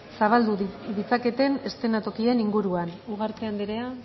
zabaldu ditzaketen eskenatokien inguruan ugarte andrea